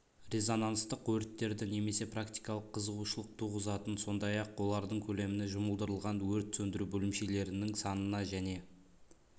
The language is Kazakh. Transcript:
резонанстық өрттерді немесе практикалық қызығушылық туғызатын сондай-ақ олардың көлеміне жұмылдырылған өрт сөндіру бөлімшелерінің санына және